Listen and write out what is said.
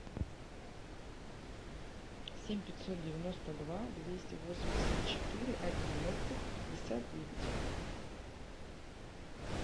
семь пятьсот девяносто два двести восемьдесят четыре одиннадцать пятьдесят девять